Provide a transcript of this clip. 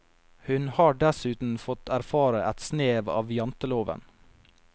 Hun har dessuten fått erfare et snev av janteloven.